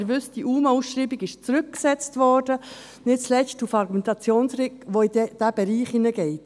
Sie wissen, die UMAAusschreibung wurde zurückgesetzt, nicht zuletzt mit der Argumentation, die in den erwähnten Bereich hineingeht.